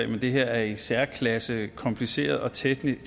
men det her er i særklasse kompliceret og teknisk